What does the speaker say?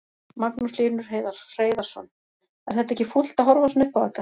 Magnús Hlynur Hreiðarsson: Er þetta ekki fúlt að horfa svona upp á þetta?